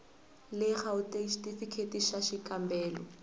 le gauteng xitifikheyiti xa xikambelo